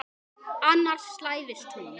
Hann hlær dátt.